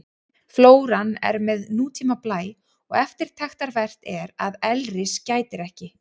Flóran er með nútíma blæ og eftirtektarvert er að elris gætir ekki.